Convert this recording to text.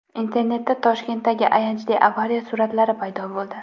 Internetda Toshkentdagi ayanchli avariya suratlari paydo bo‘ldi.